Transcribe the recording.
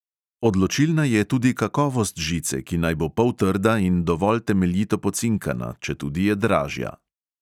Odločilna je tudi kakovost žice, ki naj bo poltrda in dovolj temeljito pocinkana, četudi je dražja.